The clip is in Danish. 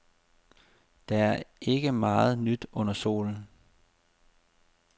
Der er ikke meget nyt under solen.